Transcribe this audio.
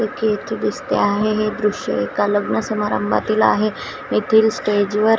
अख्खे येथं दिसते आहे हे दृश्य एका लग्न समारंभातील आहे येथील स्टेज वर --